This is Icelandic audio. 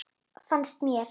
Fannst mér.